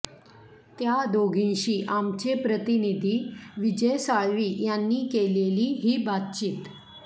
त्या दोघींशी आमचे प्रतिनिधी विजय साळवी यांनी केलेली ही बातचीत